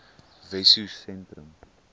wessosentrum